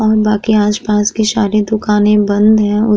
और बाकि आस-पास की सारी दुकाने बंद है।